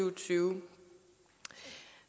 og tyve